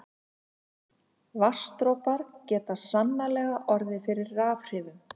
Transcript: Vatnsdropar geta sannarlega orðið fyrir rafhrifum.